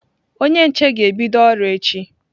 Onye nche ga-ebịdo ọrụ echi.